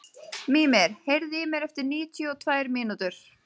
Mímir, heyrðu í mér eftir níutíu og tvær mínútur.